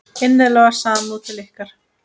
Innileg samúð til ykkar.